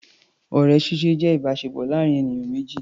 Ọ̀rẹ́ ṣíṣe jẹ́ ìbáṣepọ̀ láàrin ènìyàn méjì.